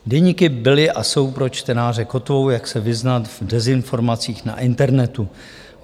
Deníky byly a jsou pro čtenáře kotvou, jak se vyznat v dezinformacích na internetu.